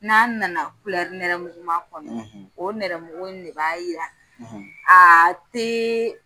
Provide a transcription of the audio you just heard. N'an na na kulɛri nɛrɛmugu ma kɔnɔ o nɛrɛmugu in de b'a yira tɛ